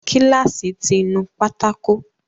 Kíláàsì ti nu pátákó